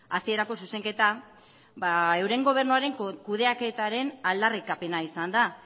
hasierako zuzenketa euren gobernuaren kudeaketaren aldarrikapena izan da